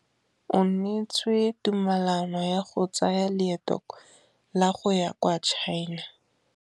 O neetswe tumalanô ya go tsaya loetô la go ya kwa China.